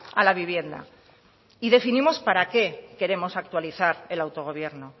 a la vivienda y definimos para qué queremos actualizar el autogobierno